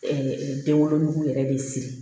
den wolonugu yɛrɛ de siri